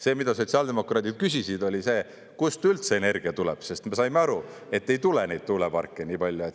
See, mida sotsiaaldemokraadid küsisid, oli see, kust üldse energia tuleb, sest me saime aru, et ei tule neid tuuleparke nii palju.